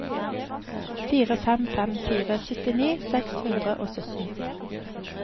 fire fem fem fire syttini seks hundre og sytten